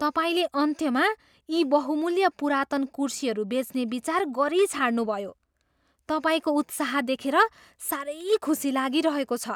तपाईँले अन्त्यमा यी बहुमूल्य पुरातन कुर्सीहरू बेच्ने विचार गरिछाड्नुभयो। तपाईँको उत्साह देखेर साह्रै खुसी लागिरहेको छ।